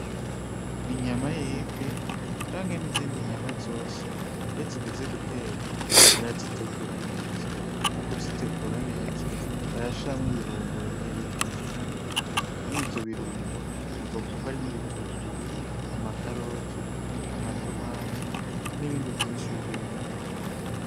Inyama y'ifi canke n'izindi nyama zose, iyo zigeze gutekwa barazitegura neza. Mu kuzitegura neza barashiramwo ibirungo bigiye bitandukanye. Muri ivyo birungo uzokwumva harimwo ibitunguru, amakaroti, amatomati n'ibindi vyinshi bigiye bitandukanye.